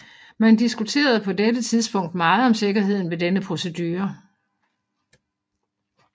Man diskuterede på dette tidspunkt meget om sikkerheden ved denne procedure